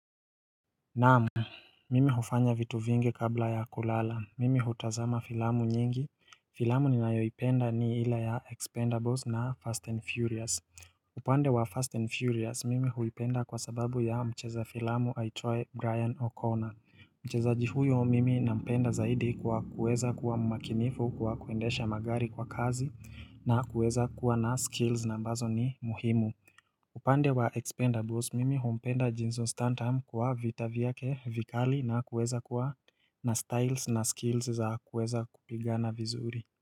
Naam, mimi hufanya vitu vingi kabla ya kulala, mimi hutazama filamu nyingi, filamu ninayoipenda ni ile ya Expendables na Fast and Furious upande wa Fast and Furious, mimi huipenda kwa sababu ya mcheza filamu aitwaye Brian O'Connor Mchezaji huyo mimi nampenda zaidi kwa kuweza kuwa mmakinifu kwa kuendesha magari kwa kasi na kuweza kuwa na skills na ambazo ni muhimu upande wa Expendables mimi humpenda Jason Stantam kwa vita vyake vikali na kuweza kuwa na styles na skills za kuweza kupigana vizuri.